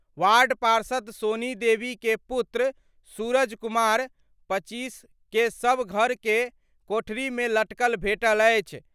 Ward पार्षद सोनी देवी के पुत्र सूरज कुमार (25) के शव घर के कोठरी मे लटकल भेटल अछि।